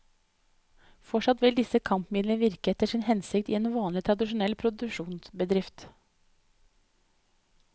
Fortsatt vil disse kampmidlene virke etter sin hensikt i en vanlig, tradisjonell produksjonsbedrift.